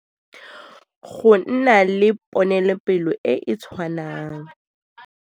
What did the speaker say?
Go nna le ponelopele e e tshwanang.